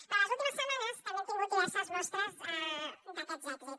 però les últimes setmanes també hem tingut diverses mostres d’aquest èxit